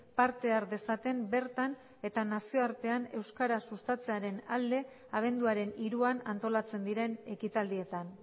parte har dezaten bertan eta nazioartean euskaraz sustatzearen alde abenduaren hiruan antolatzen diren ekitaldietan